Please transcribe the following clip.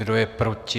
Kdo je proti?